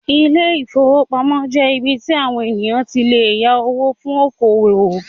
Ilé-ìfowópamọ́sí jẹ́ ibí tí àwon ènìyàn tí lè yá owó fún oko-òwò